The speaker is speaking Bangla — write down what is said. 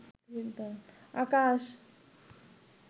আকাশ